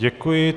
Děkuji.